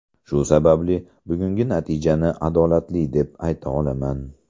Shu sababli bugungi natijani adolatli deb ayta olaman.